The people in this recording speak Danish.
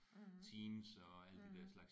Mh mh